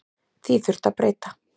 Því þurfi að breyta.